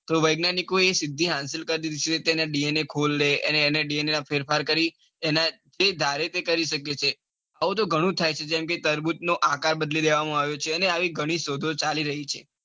તો વેજ્ઞાનિકો એ સીધી અંશીલ કરી દે છે. એના DNA ખોલદે. અને એના DNA માં ફેરફાર કરી. એ ધારે તે કરી શકે છે. હવે તો ગણું થાય છે. જેમ કે તડબૂચ નો આકાર બદલી દેવામાં આવે છે. અને આવી ગણી શોધો ચાલી રહી છે.